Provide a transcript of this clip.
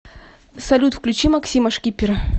салют включи максима шкипера